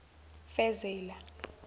fezela